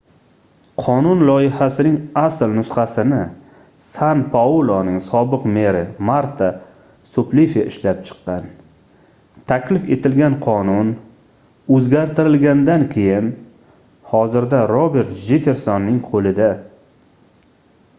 qonun loyihasining asl nusxasini san pauloning sobiq meri marta suplifi ishlab chiqqan taklif etilgan qonun oʻzgartirilgandan keyin hozirda robert jeffersonning qoʻlida